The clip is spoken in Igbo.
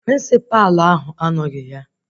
Prịnsịpa ahụ anoghi ya